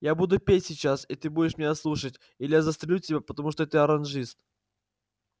я буду петь сейчас и ты будешь меня слушать или я застрелю тебя потому что ты оранжист